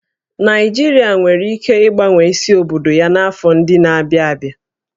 Naịjirịa nwere ike ịgbanwe isi obodo ya n'afọ ndị na-abịa abịa